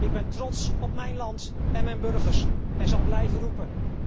Ik ben trots op mijn land en mijn burgers en zal blijven roepen.